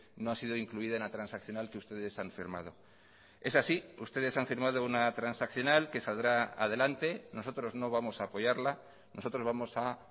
no ha sido incluida en la transaccional que ustedes han firmado es así ustedes han firmado una transaccional que saldrá adelante nosotros no vamos a apoyarla nosotros vamos a